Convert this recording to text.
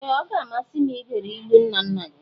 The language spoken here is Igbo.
Ee! Ọ ga-amasị m igere ilu nna nna gị.